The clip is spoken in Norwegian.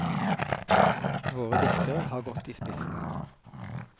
Våre diktere har gått i spissen.